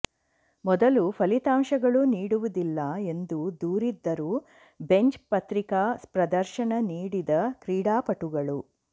ಮೊದಲು ಫಲಿತಾಂಶಗಳು ನೀಡುವುದಿಲ್ಲ ಎಂದು ದೂರಿದ್ದರು ಬೆಂಚ್ ಪತ್ರಿಕಾ ಪ್ರದರ್ಶನ ನೀಡಿದ ಕ್ರೀಡಾಪಟುಗಳು